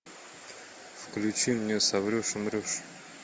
включи мне соврешь умрешь